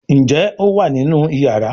Njé o wá nínú iyàrá?